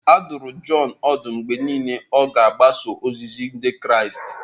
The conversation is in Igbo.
A dụrụ Jọn ọdụ mgbe niile ka ọ gbasoo ozizi Ndị Kraịst.